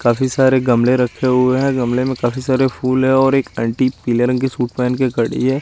काफी सारे गमले रखे हुए हैं गमले में काफी सारे फूल हैं और एक अंटी पीले रंग की सूट पहन के खड़ी है।